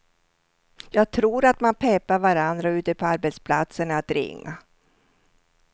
Jag tror att man peppar varandra ute på arbetsplatserna att ringa.